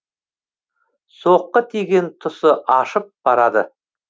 соққы тиген тұсы ащып барады